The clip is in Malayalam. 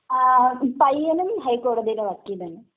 പയ്യനും ഹൈക്കോടതിയുടെ വക്കീല് തന്നെ.